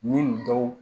Ni nin dɔw